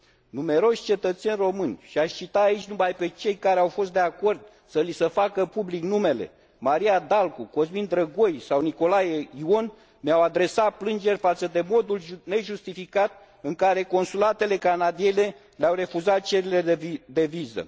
Numeroși cetățeni români, și aș cita aici numai pe cei care au fost de acord să li se facă public numele Maria Dalcu, Cosmin Drăgoi sau Nicolae Ion, ne au adresat plângeri față de modul nejustificat în care consulatele canadiene le au refuzat cererile de viză.